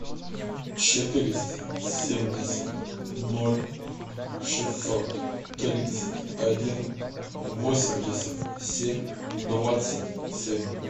четыреста семьдесят ноль шестьсот тридцать один восемьдесят семь двадцать семь